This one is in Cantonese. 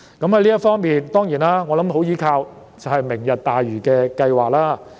我相信這方面十分依賴"明日大嶼"計劃。